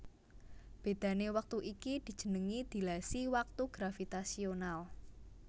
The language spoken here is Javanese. Bedhané wektu iki dijenengi dilasi waktu gravitasional